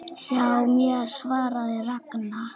Hjá mér? svaraði Ragna.